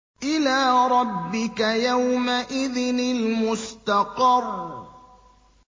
إِلَىٰ رَبِّكَ يَوْمَئِذٍ الْمُسْتَقَرُّ